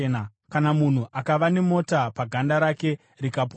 “Kana munhu akava nemota paganda rake rikapora,